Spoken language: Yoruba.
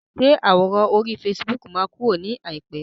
Ṣé àwòrán orí fasibóòkù máa kúrò ní àìpé?